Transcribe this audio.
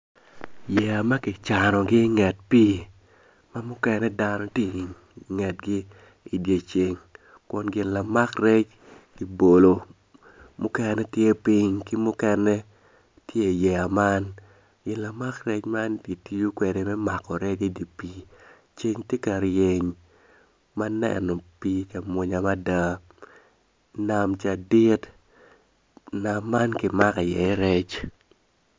Yeya ma ki canogi i nget pii ma mukene dano ti ingetgi i dye ceng kun gin lamak rec ki bolo mukene tye piny ki muken tye i yeya man gin lamak rec man kitiyo kwede me mako idi pii ceng ti ka ryeny ma neno pii ca munya mada nam ca dit nam ki mako iye rec